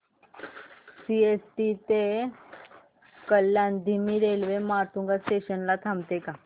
CST ते कल्याण धीमी railway Matunga station ला थांबते का